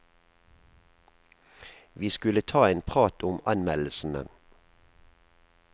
Vi skulle ta en prat om anmeldelsene.